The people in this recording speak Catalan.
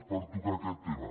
per tocar aquest tema